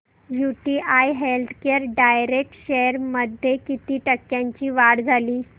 UTI healthcare direct shares मध्ये किती टक्क्यांची वाढ झाली